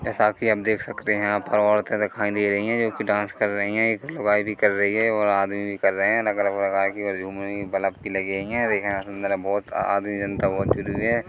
ऐसा कि आप देख सकते है यहाँ पर औरतें दिखाई दे रही है जोकि डांस कर रही है एक लुगाई भी कर रही है और आदमी भी कर रहे है अलग-अलग प्रकार की और झूम रही है बल्ब भी लगे ही है देखने में सुंदर है बहोत आदमी जनता बहोत जूरी हुई है।